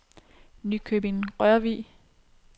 Nykøbing-Rørvig